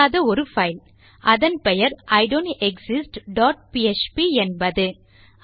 இல்லாத ஒரு பைல் அதன் பெயர் ஐடோன்டெக்ஸிஸ்ட் டாட் பிஎச்பி என்பது